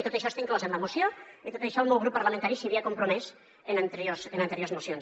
i tot això està inclòs en la moció i amb tot això el meu grup parlamentari s’hi havia compromès en anteriors mocions